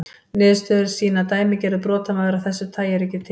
Niðurstöður sýna að dæmigerður brotamaður af þessu tagi er ekki til.